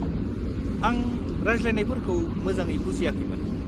-आं रायज्लायनायफोरखौ मोजाङै बुजियाखैमोन।